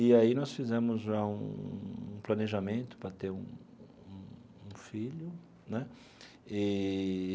E aí nós fizemos já um planejamento para ter um um um filho né eee.